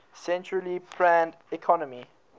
centrally planned economy